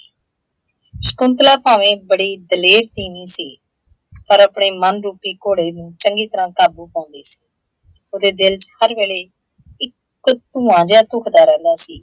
ਸ਼ਕੁੰਤਲਾ ਭਾਵੇਂ ਬੜੀ ਦਲੇਰ ਤੀਂਵੀਂ ਸੀ, ਪਰ ਆਪਣੇ ਮੰਨ ਰੂਪੀ ਘੋੜੇ ਨੂੰ ਚੰਗੀ ਤਰ੍ਹਾਂ ਕਾਬੂ ਨਾ ਕਰ ਸਕੀ । ਉਹਦੇ ਦਿੱਲ ਚ ਹਰ ਵੇਲੇ ਇੱਕ ਧੁਆ ਜਿਹਾ ਘੁੱਟਦਾ ਰਹਿੰਦਾ ਸੀ।